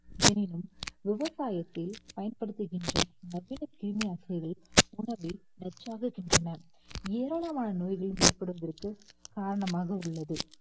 எனினும் விவசாயத்தில் பயன்படுத்துகின்ற நிறைய கிருமி நாசினிகள் உணவில் நச்சாகின்றன ஏராளமான நோய்கள் ஏற்படுவதற்கு காரணமாக உள்ளது